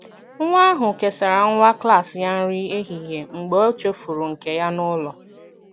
Nwa ahụ kesara nwa klas ya nri ehihie mgbe ọ chefuru nke ya n’ụlọ.